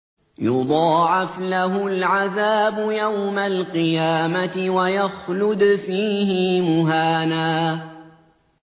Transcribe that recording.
يُضَاعَفْ لَهُ الْعَذَابُ يَوْمَ الْقِيَامَةِ وَيَخْلُدْ فِيهِ مُهَانًا